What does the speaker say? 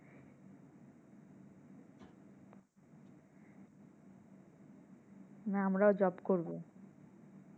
যে আমরা ও job করবো।